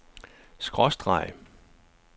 skråstreg